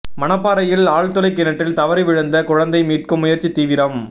மணப்பாறையில் ஆழ்துளை கிணற்றில் தவறி விழுந்த குழந்தை மீட்கும் முயற்சி தீவிரம்